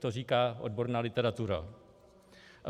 To říká odborná literatura.